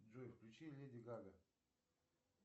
джой включи леди гага